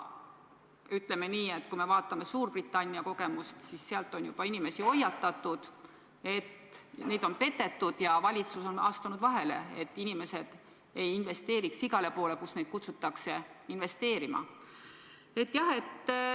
Kui me vaatame näiteks Suurbritannia kogemust, siis seal on juba inimesi hoiatatud, et neid on petetud, ja valitsus on astunud vahele, et inimesed ei investeeriks igale poole, kuhu neid kutsutakse investeerima.